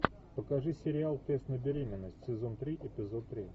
покажи сериал тест на беременность сезон три эпизод три